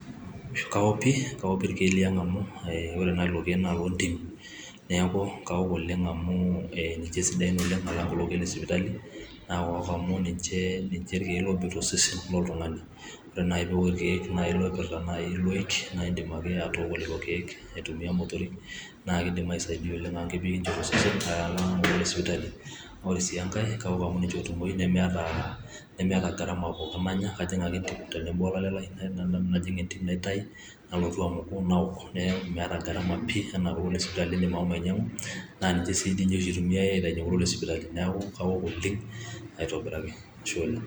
kaok pi kaok pi irkeek liang amu ore naa lelo keek naa loontimi neeku kawok oleng amu ninche sidain oleng alang kulo keek lesipitali naa kawok amu ninche irkeek lobik tosesen loltung`ani ore naaji piiwok irkeek oipirta naaji iloik naa indim ake atooko lelo keek aitumia imotorik nee ekindim aisaidia oleng amu kebik ninche tosesen alang kulo lesipitali ore sii enkay kawok amu ninche ootumoyu nemeeta gharama pooki nanya kajing ake entim tenebo olalem lai najing entim naitai nalotu amuku nawok neeku meeta gharama pii enaa kulo lesipitali lindim ashomo ainy`iang`u naa ninche sii doi oshi eitumiai aitainyie kulo lesipitali neeku kawok oleng aitobiraki ashe oleng.